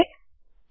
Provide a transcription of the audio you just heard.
move forward